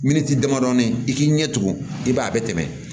Miniti damadamani i k'i ɲɛ tugun i b'a ye a bɛ tɛmɛ